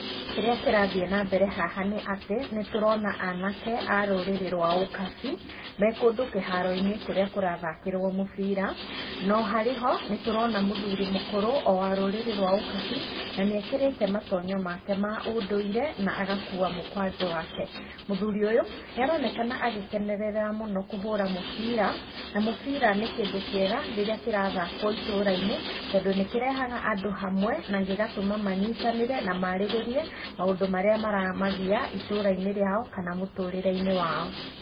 Kĩrĩa kĩrathiĩ na mbere haha nĩ atĩ, nĩ tũrona anake a rũrĩrĩ rwa ũkabi, me kũndũ kĩharo-inĩ kũrĩa kũrathakĩrwo mũbira, no harĩ ho, nĩtũrona mũthurĩ mũkũrũ, o wa rũrĩrĩ rwa ũkabi, na nĩ ekĩrĩte matonyo make ma ũndũire, na agakua mũkwanjũ wake. Mũthuri ũyũ, nĩ aronekana agĩkenerera mũno kũhũra mübira, na mũbira nĩ kĩndũ kĩega, rĩrĩa kĩrathakwo itũra-inĩ, tondũ nĩ kĩrehaga andũ hamwe, na gĩgatũma manyitanĩre, na marĩrĩrie maũndũ marĩa maramagia itũra-inĩ rĩao, kana mũtũrĩre-inĩ wao.